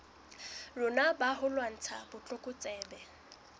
rona ba ho lwantsha botlokotsebe